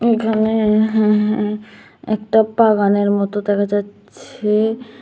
এখানে হুঁ হুঁ একটা পাগানের মতো দেখা যাচ্ছে।